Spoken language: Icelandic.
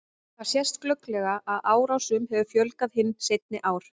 För eftir bókaskápa mynduðu hornrétt mynstur í ljósu ullarteppinu en annars var ekkert að sjá.